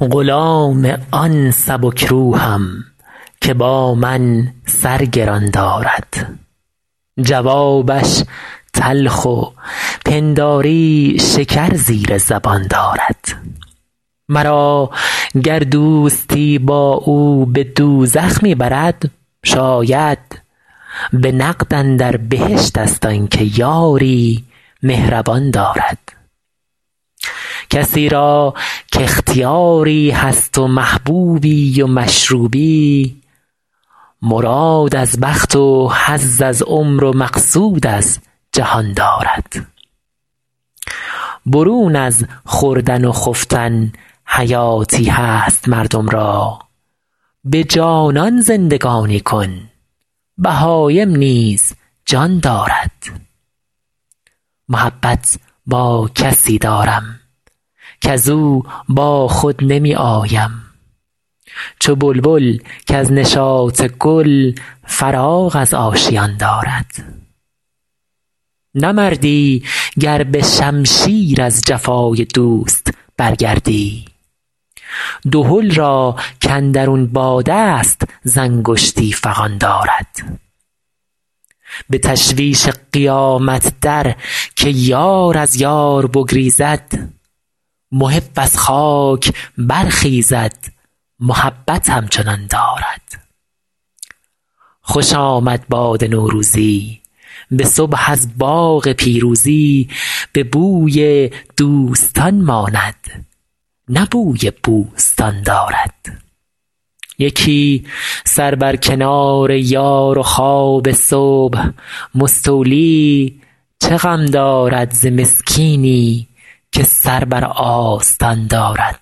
غلام آن سبک روحم که با من سر گران دارد جوابش تلخ و پنداری شکر زیر زبان دارد مرا گر دوستی با او به دوزخ می برد شاید به نقد اندر بهشت ست آن که یاری مهربان دارد کسی را کاختیاری هست و محبوبی و مشروبی مراد از بخت و حظ از عمر و مقصود از جهان دارد برون از خوردن و خفتن حیاتی هست مردم را به جانان زندگانی کن بهایم نیز جان دارد محبت با کسی دارم کز او با خود نمی آیم چو بلبل کز نشاط گل فراغ از آشیان دارد نه مردی گر به شمشیر از جفای دوست برگردی دهل را کاندرون باد است ز انگشتی فغان دارد به تشویش قیامت در که یار از یار بگریزد محب از خاک برخیزد محبت همچنان دارد خوش آمد باد نوروزی به صبح از باغ پیروزی به بوی دوستان ماند نه بوی بوستان دارد یکی سر بر کنار یار و خواب صبح مستولی چه غم دارد ز مسکینی که سر بر آستان دارد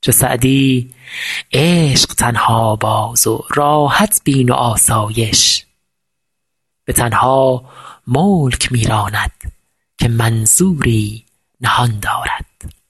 چو سعدی عشق تنها باز و راحت بین و آسایش به تنها ملک می راند که منظوری نهان دارد